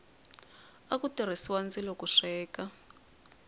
aku tirhisiwa ndzilo ku sweka